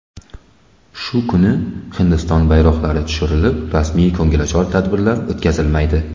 Shu kuni Hindiston bayroqlari tushirilib, rasmiy ko‘ngilochar tadbirlar o‘tkazilmaydi.